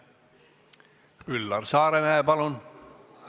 Üllar Saaremäe, palun!